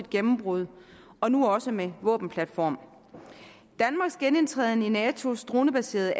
gennembrud og nu også med våbenplatform danmarks genindtræden i natos dronebaserede